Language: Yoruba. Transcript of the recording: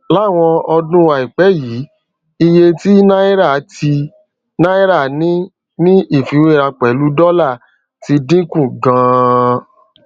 láwọn ọdún àìpé yìí iye tí náírà tí náírà ní ní ìfiwéra pèlú dólà ti dín kù ganan